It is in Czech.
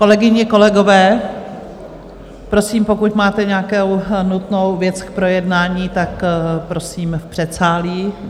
Kolegyně, kolegové, prosím, pokud máte nějakou nutnou věc k projednání, tak prosím v předsálí.